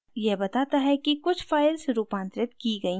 यह बताता है कि कुछ files रूपांतरित की गयी हैं